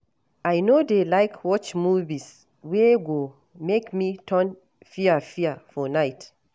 I no dey like watch movies wey go make me turn fear-fear for night.